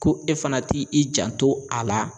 Ko e fana t'i janto a la